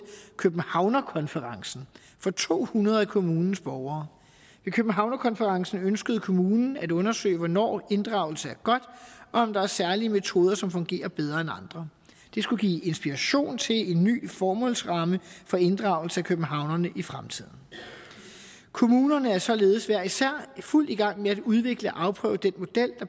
københavnerkonferencen for to hundrede af kommunens borgere ved københavnerkonferencen ønskede kommunen at undersøge hvornår inddragelse er godt og om der er særlige metoder som fungerer bedre end andre det skulle give inspiration til en ny formålsramme for inddragelse af københavnerne i fremtiden kommunerne er således hver især i fuld gang med at udvikle og afprøve den model